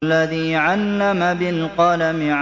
الَّذِي عَلَّمَ بِالْقَلَمِ